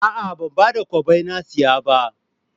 A'a ba da kwabbai na saya ba